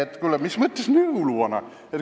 Et, kuule, mis mõttes jõuluvana?!